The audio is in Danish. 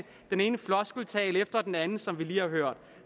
den ene floskeltale efter den anden som vi lige har hørt